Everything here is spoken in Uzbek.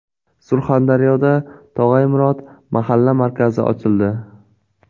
Surxondaryoda Tog‘ay Murod mahalla markazi ochildi.